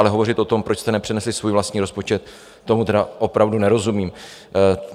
Ale hovořit o tom, proč jste nepřinesli svůj vlastní rozpočet, tomu tedy opravdu nerozumím.